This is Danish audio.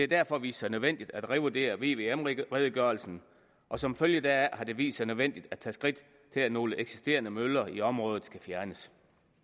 derfor vist sig nødvendigt at revurdere vvm redegørelsen og som følge deraf har det vist sig nødvendigt at tage skridt til at nogle eksisterende møller i området skal fjernes